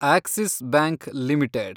Axis Bank limited